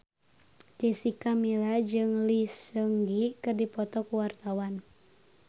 Jessica Milla jeung Lee Seung Gi keur dipoto ku wartawan